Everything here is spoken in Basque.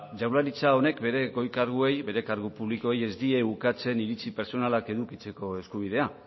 jaurlaritza honek bere goi karguei bere kargu publikoei ez die ukatzen iritzi pertsonala edukitzeko eskubidea